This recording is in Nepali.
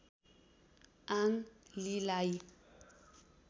आङ लीलाई